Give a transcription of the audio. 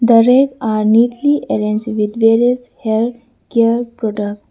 The rack are neatly arranged with various hair care products.